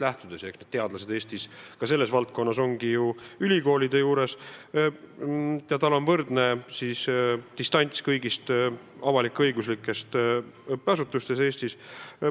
Teadlased tegutsevadki Eestis ka selles valdkonnas ju ülikoolide juures ja sihtkapital on võrdselt distantseeritud kõigist avalik-õiguslikest õppeasutustest Eestis.